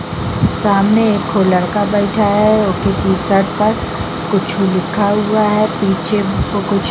सामने एगो लड़का बैठा हुआ है उके टी-शर्ट पर कुछु लिखा हुआ है पीछे फोटो --